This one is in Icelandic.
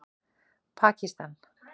Pakistan